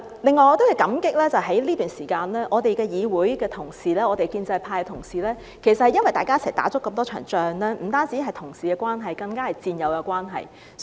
此外，我要感激在這段時間，我們的議會同事、建制派同事共同打了那麼多場仗，我們不單是同事關係，更加是戰友關係。